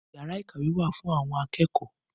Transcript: Yàrá ìkàwé wá fún àwọn akẹ́kọ̀ọ́